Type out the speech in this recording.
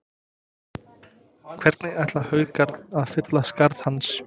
Hvernig ætla Haukar að fylla skarð hans?